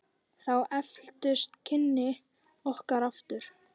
Þá efldust kynni okkar aftur.